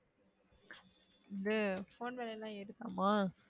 வந்து phone விலையெல்லாம் ஏறுதமா?